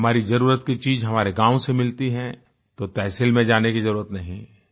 हमारी जरुरत की चीज हमारे गाँव से मिलती है तो तहसील में जाने की जरुरत नहीं है